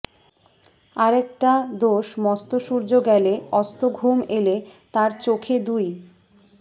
আরেকটা দোষ মস্ত সূর্য গেলে অস্ত ঘুম এলে তার চোখে দুই